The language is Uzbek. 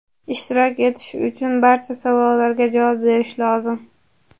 ishtirok etish uchun barcha savollarga javob berish lozim.